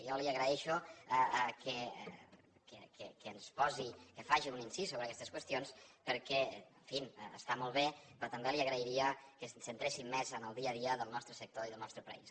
jo li agraïxo que ens posi que faci un incís sobre aguestes qüestions perquè en fi està molt bé però també li agrairia que ens centréssim més en el dia a dia del nostre sector i del nostre país